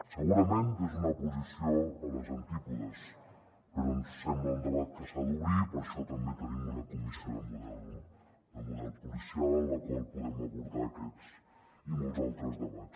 segurament des d’una posició als antípodes però ens sembla un debat que s’ha d’obrir i per això també tenim una comissió de model policial en la qual podem abordar aquests i molts altres debats